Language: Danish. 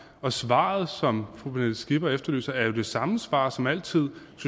svaret som fru pernille skipper efterlyser er jo det samme svar som altid